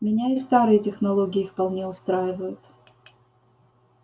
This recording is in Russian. меня и старые технологии вполне устраивают